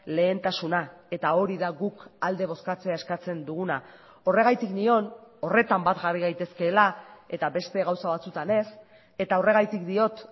lehentasuna eta hori da guk alde bozkatzea eskatzen duguna horregatik nion horretan bat jarri gaitezkeela eta beste gauza batzutan ez eta horregatik diot